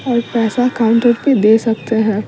ओर पैसा काउंटर पे दे सकते हैं।